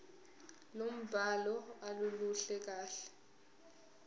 lombhalo aluluhle kahle